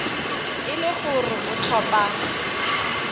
e le gore o tlhopha